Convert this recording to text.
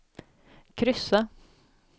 kryssa